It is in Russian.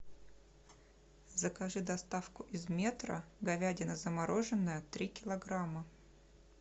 закажи доставку из метро говядина замороженная три килограмма